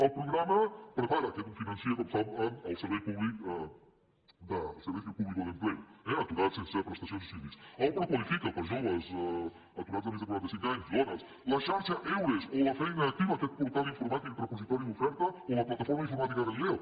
el programa prepara aquest el finança com saben el servicio público de empleo eh aturats sense prestació ni subsidis el qualifica’t per a joves aturats de més de quaranta cinc anys dones la xarxa eures o la feina activa aquest portal informàtic repositori d’oferta o la plataforma informàtica galileo